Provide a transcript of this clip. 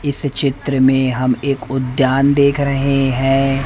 इस चित्र में हम एक उद्यान देख रहे हैं।